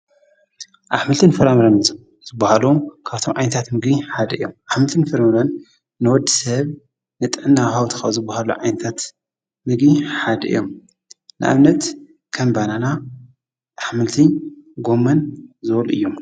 ኣሕምልትን ፈራምረን ዝብሃሎ ካብቶም ዓይንታት ምጊ ሓደ እዮም ኣኅምልትን ፍርለን ንወድ ሰብ ንጠናሃውትኻ ዝብሃሉ ዓይንታት ምግቢ ሓድ እዮም ንእብነት ከንበናና ኣሕምልት ጎመን ዝወሉ እዩ።